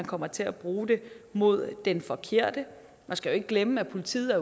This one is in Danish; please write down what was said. kommer til at bruge det mod den forkerte man skal jo ikke glemme at politiet er